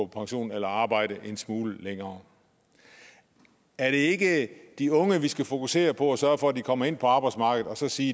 pension eller arbejde en smule længere er det ikke de unge vi skal fokusere på og sørge for at de kommer ind på arbejdsmarkedet og så sige